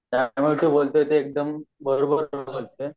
त्यामुळे तू बोलतो तो एकदम बरोबर बोलतो आहे